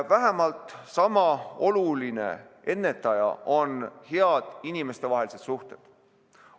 Vähemalt sama oluline ennetaja on head inimestevahelised suhted.